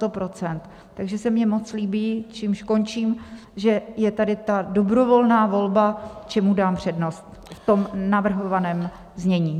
Takže se mně moc líbí, čímž končím, že je tady ta dobrovolná volba, čemu dám přednost, v tom navrhovaném znění.